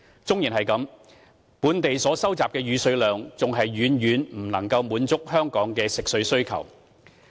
縱使如此，本地所收集的雨水量還是遠遠不能滿足香港的食水需求。